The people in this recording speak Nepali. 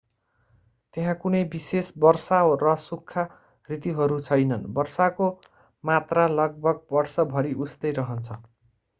त्यहाँ कुनै विशेष वर्षा र सुख्खा ऋतुहरू छैनन् वर्षाको मात्रा लगभग वर्षभरि उस्तै रहन्छ